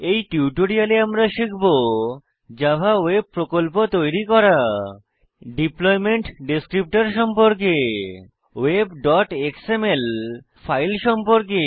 এই টিউটোরিয়ালে আমরা শিখব জাভা ওয়েব প্রকল্প তৈরি করা ডিপ্লয়মেন্ট ডেসক্রিপ্টর সম্পর্কে webএক্সএমএল ফাইল সম্পর্কে